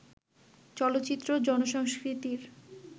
চলচ্চিত্র জনসংস্কৃতির